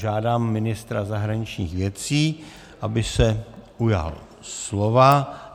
Žádám ministra zahraničních věcí, aby se ujal slova.